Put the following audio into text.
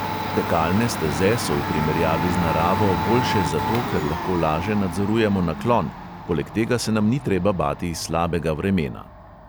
Tekalne steze so v primerjavi z naravo boljše zato, ker lahko laže nadzorujemo naklon, poleg tega se nam ni treba bati slabega vremena.